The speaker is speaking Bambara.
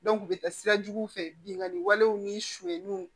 u bɛ taa sira juguw fɛ binganni walew ni suɲɛniw